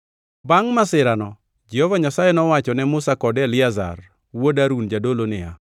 Bangʼ masirano Jehova Nyasaye nowacho ne Musa kod Eliazar wuod Harun jadolo niya,